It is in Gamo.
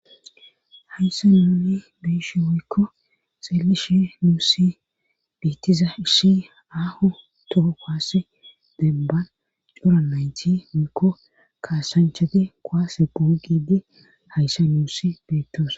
Hayssa nuuni biishi wuykko xillishi nuusi beettiza ishi aaho toho koase debban cora nayti muykko kaasanchati koaase pugide hayssa nuussi beettos.